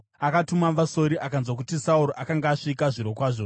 akatuma vasori akanzwa kuti Sauro akanga asvika, zvirokwazvo.